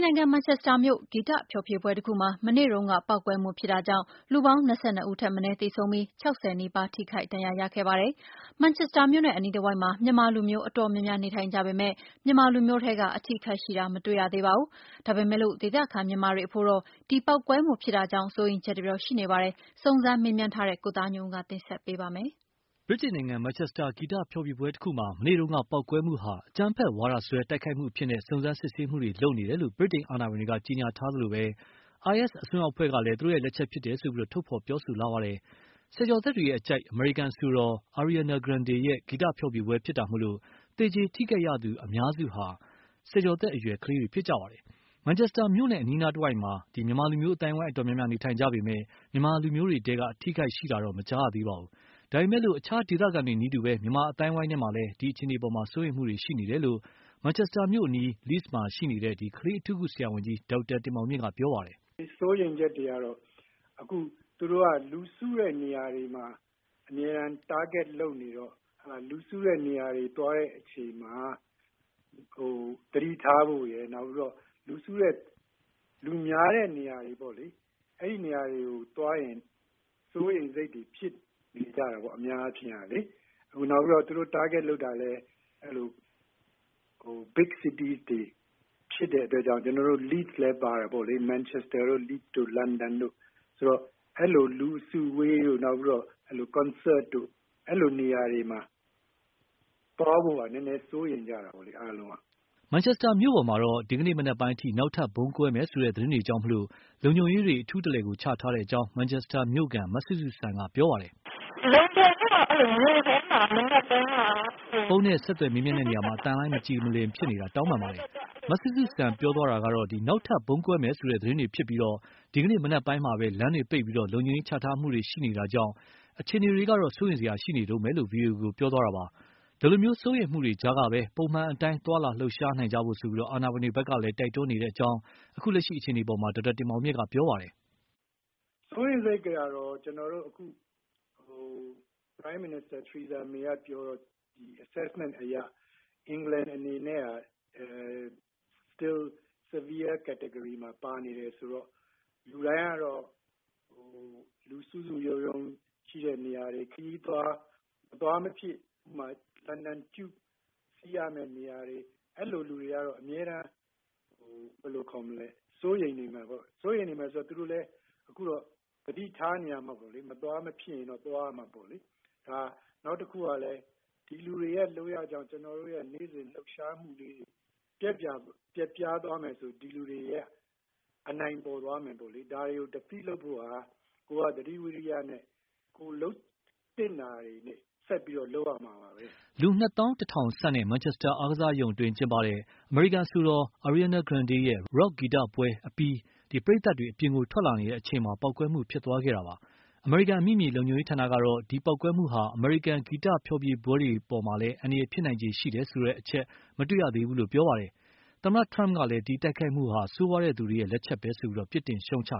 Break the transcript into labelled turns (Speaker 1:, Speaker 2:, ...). Speaker 1: နိုင်ငံ မန်ချက်စတာမြို့ ဂီတဖျော်ဖြေပွဲတခုမှာ မနေ့တုန်းက ပေါက်ကွဲမှုဖြစ်တာကြောင့် လူပေါင်း ၂၂ ဦးထက်မနည်းသေဆုံးပြီး ၆၀နီးပါး ထိခိုက်ဒဏ်ရာရခဲ့ပါတယ်။ မန်ချက်စတာမြို့နဲ့အနီးတဝိုက်မှာ မြန်မာလူမျိုးအတော်များများ နေထိုင်ကြပေမယ့် မြန်မာလူမျိုးထဲက အထိအခိုက်ရှိတာ မတွေ့ရ သေးပါဘူး။ ဒါပေမယ်လို့ ဒေသခံ မြန်မာတွေအဖို့တော့ ဒီပေါက်ကွဲမှုဖြစ်တာကြောင့် စိုးရိမ်ချက်တွေတော့ ရှိနေပါတယ်။ စုံစမ်းမေးမြန်းထားတဲ့ ကိုသားညွန့်ဦးက တင်ဆက်ပေးပါလိမ့်မယ်။ ဗြိတိန်နိုင်ငံ မန်ချက်စတာ ဂီတဖျော်ဖြေပွဲတခုမှာ မနေ့က ပေါက်ကွဲမှုဟာ အကြမ်းဖက်ဝါဒစွဲတိုက်ခိုက်မှုအဖြစ်နဲ့ စုံစမ်းစစ်ဆေးမှုတွေလုပ်နေတယ်လို့ ဗြိတိန်အာဏာပိုင်တွေက ကြေညာထားသလိုပဲ၊ IS အစွန်းရောက်အဖွဲ့ကလည်း သူတို့လက်ချက်ဖြစ်တယ်လို့ ထုတ်ဖော်ပြောဆိုလာပါတယ်။ ဆယ်ကျော်သက်တွေအကြိုက် အမေရိကန်အဆိုတော် Ariana Grande ရဲ့ ဂီတဖျော်ဖြေပွဲမှာဖြစ်တာမို့ သေကြေ ထိခိုက်သူအများစုဟာ ဆယ်ကျော်သက်အရွယ်ကလေးတွေဖြစ်ကြပါတယ်။ မန်ချက်စတာမြို့နဲ့အနီးအနားမှာတော့ မြန်မာလူမျိုး အသိုင်းအဝိုင်းအတော်များများနေထိုင်ကြပေမယ့် မြန်မာလူမျိုးတွေထဲက အထိအခိုက်ရှိတာတော့ မကြားရပါဘူး။ ဒါပေမယ့်လည်း အခြားဒေသခံတွေနည်းတူ မြန်မာအသိုင်းအဝိုင်းထဲမှာလည်း အခြေအနေအပေါ် စိုးရိမ်မှုတွေရှိနေတယ်လို့ မန်ချက်စတာမြို့အနီး Leeds မှာရှိနေတဲ့ ကလေးအထူးကုဆရာဝန်ကြီး ဒေါက်တာ တင်မောင်မြင့်က ပြောပါတယ်
Speaker 2: ။ “စိုးရိမ်ချက်တွေကတော့ အခုက သူတို့က လူစုတဲ့နေရာတွေမှာ အမြဲတမ်း Target လုပ်နေတော့ လူစုတဲ့နေရာတွေသွားတဲ့အချိန်မှာ သတိထားဖို့ရယ်။ လူများတဲ့နေရာတွေကိုသွားရင် စိုးရိမ်စိတ်တွေဖြစ်နေကြတယ်ပေါ့နော်။ အများအားဖြင့်ပေ့ါလေ။ နောက်ပြီးတော့ သူတို့ Target လုပ်တာလည်း Big City တွေ ဖြစ်တဲ့အတွက်ကြောင့် ကျနော်တို့ Leeds လည်းပါတယ်ပေါ့လေ ၊ Manchester တို့ Leeds တို့ လန်ဒန်တို့ အဲလိုလူအစုအဝေးတို့ နောက်ပြီးတော့ Concert တို့ အဲလိုနေရာတွေမှာ သွားဖို့က နည်းနည်းစိုးရိမ်ကြတယ်အားလုံးက။”
Speaker 1: မန်ချက်စတာမြို့ပေါ်မှာတော့ ဒီကနေ့မနက်ပိုင်းအထိ နောက်ထပ်ဗုံးကွဲမယ်ဆိုတဲ့ သတင်းတွေကြောင့် လုံခြုံရေးတွေ အထူးချထားတဲ့အကြောင်း မန်ချက်စတာ မြို့ခံ မစုစုစံက ပြောပါတယ်
Speaker 2: ။
Speaker 1: ဖုန်းနဲ့ဆက်သွယ်ရာမှာအသံလိုင်းမကြည်မလင်ဖြစ်နေတာ တောင်းပန်ပါတယ်။ မစုစုစံပြောတာကတော့ နောက်ထပ် ဗုံးကွဲမယ်ဆိုတဲ့သတင်းတွေဖြစ်ပြီး၊ ဒီကနေ့ မနက်ပိုင်းကပဲ လမ်းတွေပိတ်ပြီး လုံခြုံရေးချထားမှုတွေရှိနေတာကြောင့် အခြေအနေကတော့ စိုးရိမ်စရာရှိနေတုန်းပဲ ဗွီအိုအေကို ပြောတာပါ။ ဒီလို စိုးရိမ်မှုတွေကြားကပဲ ပုံမှန်အတိုင်းသွားလာလှုပ်ရှားနိုင်ဖို့ အာဏာပိုင်တွေဖက်က တိုက်တွန်းနေတယ်လို့လည်း အခုလက်ရှိအခြေအနေအပေါ်မှာတော့ဒေါက်တာတင်မောင်မြင့်က ပြောပါတယ်။
Speaker 2: “စိုးရိမ်စိတ်တွေကတော့ ကျနော်တို့အခု Prime Minister Theresa May ကပြောတော့ အခုအခြေအနေအရ အင်္ဂလန်အနေနဲ့က Severe Category မှာပါနေတယ်ဆိုတော့ လူတိုင်းကတော့ လူစုစုရုံးရုံးရှိတဲ့နေရာတွေ ခရီးသွား ၊ မသွားမဖြစ်မှာ လန်ဒန် Tube စီးရမယ့်နေရာတွေ အဲလိုလူတွေကတော့ အမြဲတမ်းစိုးရိမ်နေမယ်ပေါ့နေ်ာ။ စိုးရိမ်နေမယ်ဆိုတော့ သူတို့လည်းအခုတော့ သတိထားရမှာပေါ့နော် မသွားမဖြစ်သွားရမှာပေါ့လေ။ နောက်တခုကလည်း ဒီလူတွေရဲ့လုပ်ရက်ကြောင့် ကျနော်တို့ရဲ့နေ့စဉ်လှုပ်ရှားမှုလေးတွေ ပျက်ပြားသွားမယ်ဆိုရင် ဒီလူတွေရဲ့ အနိုင်ပေါ်သွားမယ်ပေါ့လေ။ ဒါတွေကို Defeat လုပ်ဖို့က ကိုယ်ကသတိ ဝီရိယနဲ့ ကိုယ်လုပ်သင့်တာကို ဆက်လုပ်ရမှာပဲ။
Speaker 1: ” လူ ၂သောင်း ၁ ထောင် ဆန့်Manchester အားကစားရုံအတွင်း ကျင်းပတဲ့ အမေရိကန် အဆိုတော် Ariana Grande ရဲ့ Rock ဂီတပွဲကို အပြီး ပရိသတ်တွေ အပြင်ကို ထွက်လာနေကြတဲ့အချိန်မှာပဲ ပေါက်ကွဲမှု ဖြစ်သွားခဲ့တာ ဖြစ်ပါတယ်။ အမေရိကန်အမိမြေလုံခြုံရေးဌာန ကတော့ ဒီပေါက်ကွဲမှုက အမေရိကန်က ဂီတဖျော်ဖြေပွဲတွေမှာ အန္တရာယ်ဖြစ်နိုင်ခြေရှိတဲ့အချက်တော့ မတွေ့သေးဘူးလို့ ပြောပါတယ်။ သမ္မတ Trump ကလည်း ဒီတိုက်ခိုက်မှုဟာ ဆိုးရွားတဲ့ သူတွေရဲ့ လက်ချက်ပဲဆိုပြီး ပြစ်တင်ရှုံ့ချ